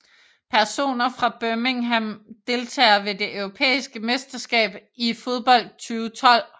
Personer fra Birmingham Deltagere ved det europæiske mesterskab i fodbold 2012